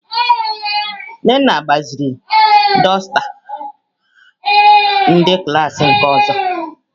Nnenna gbaziri dusta ndi klas nke ozo.